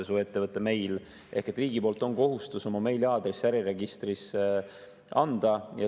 Sul on ettevõtte meil ja riigi poolt on kohustus oma meiliaadress äriregistrisse anda.